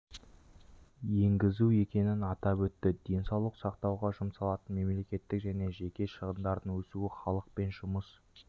енгізу екенін атап өтті денсаулық сақтауға жұмсалатын мемлекеттік және жеке шығындардың өсуі халық пен жұмыс